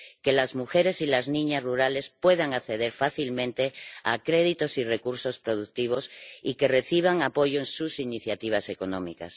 que las mujeres y las niñas rurales puedan acceder fácilmente a créditos y recursos productivos y que reciban apoyo en sus iniciativas económicas.